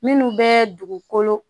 Minnu bɛ dugukolo